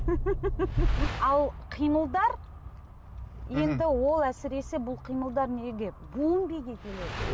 ал қимылдар енді ол әсіресе бұл қимылдар